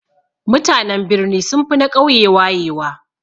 Mutanen birni sunfi na ƙauye wayewa